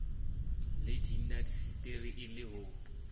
le dindaseteri e le ho